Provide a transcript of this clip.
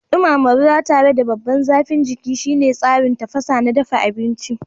Dumama ruwa tare da babban zafin jiki shine tsarin tafasa na dafa abinci.